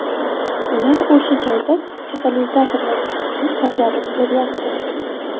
Ular o‘sha joyda katalizator vazifasini bajarib beryapti.